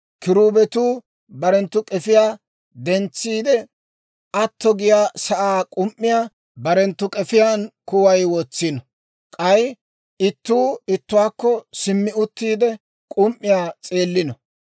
Kiruubetuu barenttu k'efiyaa dentsiide, atto giyaa sa'aa k'um"iyaa barenttu k'efiyaan kuway wotsino; k'ay ittuu ittuwaakko simmi uttiide, k'um"iyaa s'eellino.